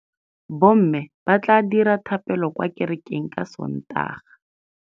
Bommê ba tla dira dithapêlô kwa kerekeng ka Sontaga.